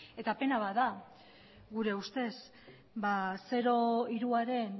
pena bat da gure ustez zero hiruaren